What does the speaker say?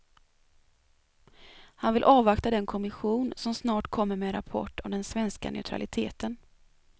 Han vill avvakta den kommission som snart kommer med en rapport om den svenska neutraliteten.